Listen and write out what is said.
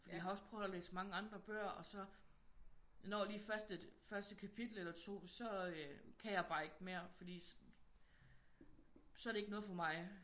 Fordi jeg har også prøvet at læse mange andre bøger og så når jeg lige først et kapitel eller to så kan jeg bare ikke mere fordi så er det ikke noget for mig